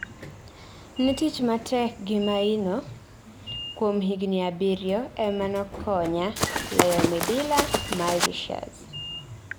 Ne tich matek gi maino kuom higni abiro ema nokonya loyo midila Mauritius